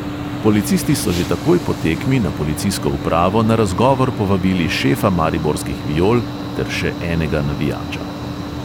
Policisti so že takoj po tekmi na policijsko upravo na razgovor povabili šefa mariborskih viol ter še enega navijača.